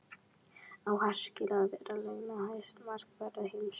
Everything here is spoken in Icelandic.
Á Hart skilið að vera launahæsti markvörður heims?